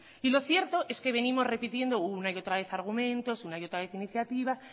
y lo cierto es que venimos repitiendo una y otra vez argumentos una y otra vez iniciativas